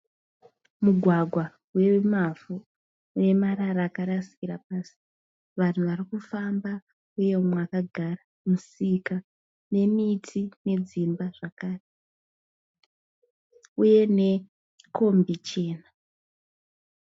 Mugwagwa wemavhu unemarara akarasikira pasi. Vanhu varikufamba uye mumwe akagara. Musika nemiti nedzimba zvakare uye nekombi chena.